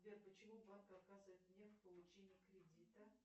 сбер почему банк отказывает мне в получении кредита